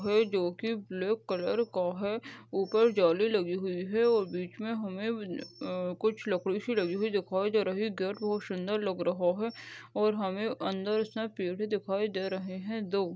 है जो की ब्लैक कलर का है उप्पर जाली लगी हुई है ओर बीच मे हमे उन्ह कुछ लकड़ी सी लगी दिखाई दे रही गेट बहुत सुंदर लग रहा है और हमे अंदर से पेड़ दिखाई दे रहे है दो।